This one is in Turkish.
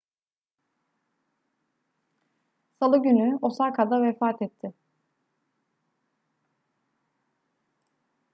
salı günü osaka'da vefat etti